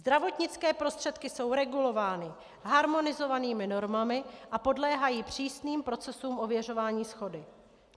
Zdravotnické prostředky jsou regulovány harmonizovanými normami a podléhají přísným procesům ověřování shody.